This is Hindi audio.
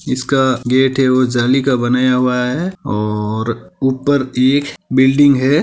इसका गेट है वह जाली का बनाया हुआ है और ऊपर एक बिल्डिंग है।